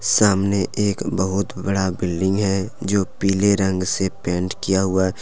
सामने एक बहुत बड़ा बिल्डिंग है जो पीले रंग से पेंट किया हुआ--